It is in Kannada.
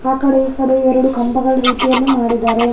ಆಕಡೆ ಈಕಡೆ ಎರಡು ಕಂಬಗಳ ರೀತಿಯಲ್ಲಿ ಮಾಡಿದ್ದಾರೆ .